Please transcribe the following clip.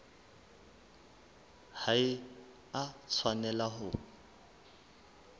ha e a tshwanela ho